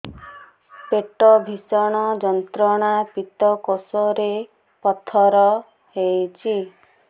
ପେଟ ଭୀଷଣ ଯନ୍ତ୍ରଣା ପିତକୋଷ ରେ ପଥର ହେଇଚି